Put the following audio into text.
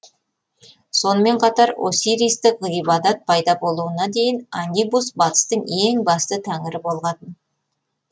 сонымен қатар осиристік ғибадат пайда болуына дейін анибус батыстың ең басты тәңірі болған